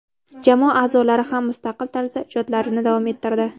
Jamoa a’zolari ham mustaqil tarzda ijodlarini davom ettirdi.